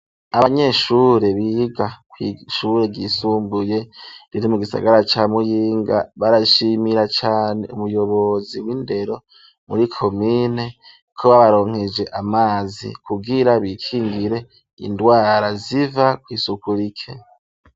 Abanyeshure biga kw'ishure ryisumbuye riri mu gisagara ca muyinga barashimira cane umuyobozi w'indero muri komine ko babaronkeje amazi kugira bikingire indwara ziva kw'isuku rike.